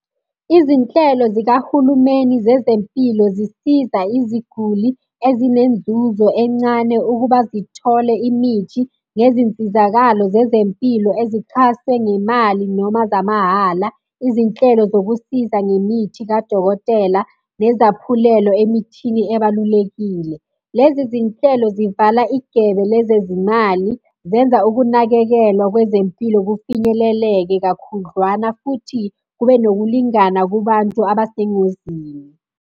Izinhlelo zikahulumeni zezempilo zisiza iziguli ezinenzuzo encane ukuba zithole imithi ngezinsizakalo zezempilo ezichase ngemali noma zamahhala, izinhlelo zokusiza ngemithi kadokotela nezaphulelo emithini ebalulekile. Lezi zinhlelo zivala igebe lezezimali, zenza ukunakekelwa kwezempilo kufinyeleleke kakhudlwana, futhi kube nokulingana kubantu abesengozini.